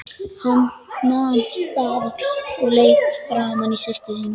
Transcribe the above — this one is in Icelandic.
Hann nam staðar og leit framan í systur sína.